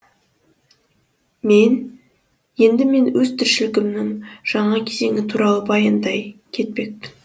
енді мен өз тіршілігімнің жаңа кезеңі туралы баяндай кетпекпін